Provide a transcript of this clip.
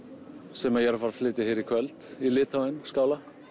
sem ég er að fara að flytja hér í kvöld í Litháen skála